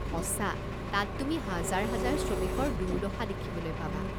সঁচা, তাত তুমি হাজাৰ হাজাৰ শ্ৰমিকৰ দুৰ্দশা দেখিবলৈ পাবা।